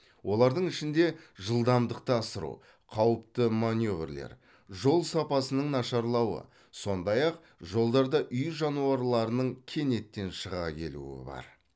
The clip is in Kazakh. олардың ішінде жылдамдықты асыру қауіпті маневрлер жол сапасының нашарлауы сондай ақ жолдарда үй жануарларының кенеттен шыға келуі бар